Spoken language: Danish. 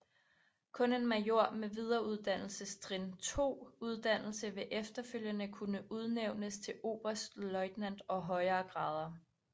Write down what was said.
Kun en major med Videreuddannelsestrin II uddannelse vil efterfølgende kunne udnævnes til oberstløjtnant og højere grader